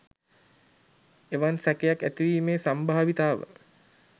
එවන් සැකයක් ඇතිවීමේ සම්භාවිතාව